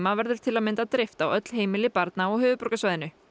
verður til að mynda dreift á öll heimili barna á höfuðborgarsvæðinu